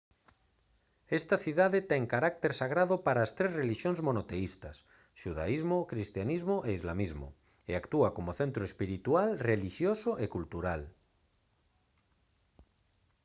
esta cidade ten carácter sagrado para as tres relixións monoteístas xudaísmo cristianismo e islamismo e actúa como centro espiritual relixioso e cultural